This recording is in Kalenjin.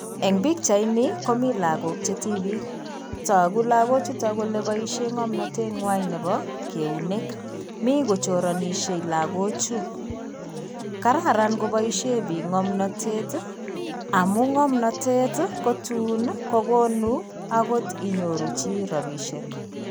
Eng' pichaini komii lagook che tibiik. Togu lagook chuto kole boishe ng'omnatet ng'wai nebo keunek. Mi kochoranishei lagoochuto. Kararan koboishe lagook ng'amnatet amuu ng'amnated kotun kogonu agot tun inyoru chi robishek.